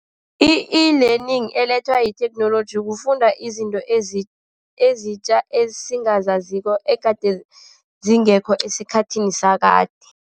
I-eLearning elethwa yitheknoloji kufunda izinto ezitja esingazaziko, egade zingekho esikhathini sakade.